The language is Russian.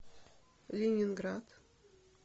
ленинград